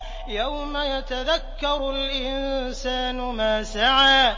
يَوْمَ يَتَذَكَّرُ الْإِنسَانُ مَا سَعَىٰ